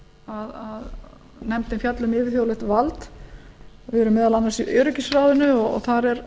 að nefndin fjalli um yfirþjóðlegt vald við erum meðal annars í öryggisráðinu og það er